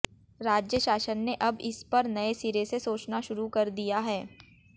राज्य शासन ने अब इस पर नए सिरे से सोचना शुरू कर दिया है